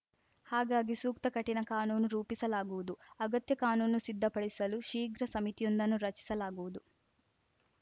ಹಾಗಾಗಿ ಸೂಕ್ತ ಕಠಿಣ ಕಾನೂನು ರೂಪಿಸಲಾಗುವುದು ಅಗತ್ಯ ಕಾನೂನು ಸಿದ್ಧಪಡಿಸಲು ಶೀಘ್ರ ಸಮಿತಿಯೊಂದನ್ನು ರಚಿಸಲಾಗುವುದು